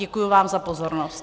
Děkuji vám za pozornost.